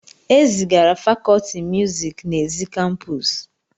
E zigara fakọlti muziiki n'èzí kampuusu.